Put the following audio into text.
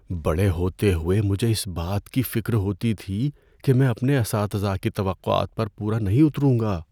بڑے ہوتے ہوئے، مجھے اس بات کی فکر ہوتی تھی کہ میں اپنے اساتذہ کی توقعات پر پورا نہیں اتروں گا۔